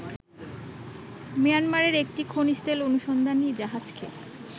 মিয়ানমারের একটি খনিজতেল অনুসন্ধানী জাহাজকে